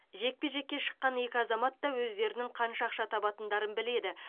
жекпе жекке шыққан екі азамат та өздерінің қанша ақша табатындарын біледі